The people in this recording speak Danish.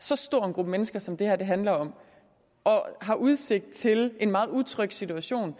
så stor en gruppe mennesker som det her handler om og har udsigt til en meget utryg situation